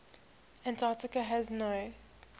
antarctica has no